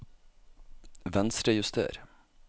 Venstrejuster